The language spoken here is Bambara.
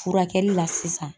Furakɛli la sisan.